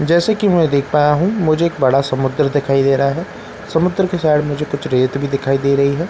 जैसे कि मैं देख पाया हूं मुझे एक बड़ा समुद्र दिखाई दे रहा है समुद्र के साइड मुझे कुछ रेत भी दिखाई दे रही है।